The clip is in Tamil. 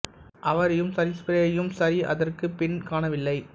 அவரையும் சரி ஸ்ப்ரே யையும் சரி அதற்குப் பின் காணவில்லை